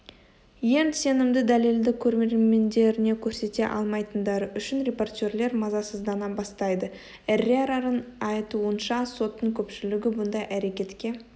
ең сенімді дәлелді көрермендеріне көрсете алмайтындары үшін репортерлер мазасыздана бастайды эррераның айтуынша соттың көпшілігі бұндай әрекетке